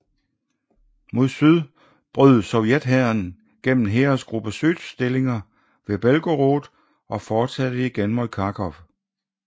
Mod syd brød sovjethæren gennem Heeresgruppe Süds stillinger ved Belgorod og forsatte igen mod Kharkov